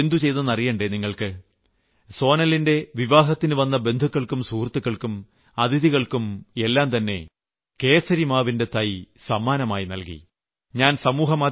മഹാത്രെജി എന്തു ചെയ്തെന്ന് അറിയേണ്ടേ നിങ്ങൾക്ക് സോനലിന്റെ വിവാഹത്തിൽവന്ന ബന്ധുക്കൾക്കും സുഹൃത്തുക്കൾക്കും അതിഥികൾക്കും എല്ലാംതന്നെ കേസരിമാവിന്റെ തൈ സമ്മാനമായി നൽകി